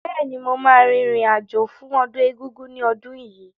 Bẹ́ẹ̀ni, mo ma rìn rìn àjò fún ọdún Egúngún ní ọdún yìí